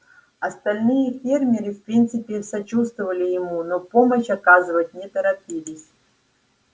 остальные фермеры в принципе сочувствовали ему но помощь оказывать не торопились